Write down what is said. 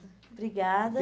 Obrigada.